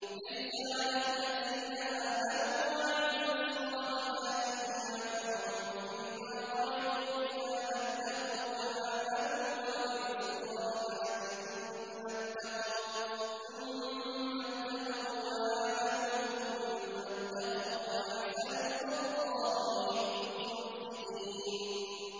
لَيْسَ عَلَى الَّذِينَ آمَنُوا وَعَمِلُوا الصَّالِحَاتِ جُنَاحٌ فِيمَا طَعِمُوا إِذَا مَا اتَّقَوا وَّآمَنُوا وَعَمِلُوا الصَّالِحَاتِ ثُمَّ اتَّقَوا وَّآمَنُوا ثُمَّ اتَّقَوا وَّأَحْسَنُوا ۗ وَاللَّهُ يُحِبُّ الْمُحْسِنِينَ